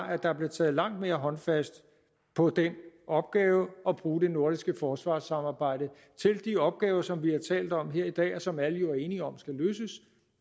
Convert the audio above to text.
at der bliver taget langt mere håndfast på den opgave at bruge det nordiske forsvarssamarbejde til de opgaver som vi har talt om her i dag og som alle jo er enige om skal løses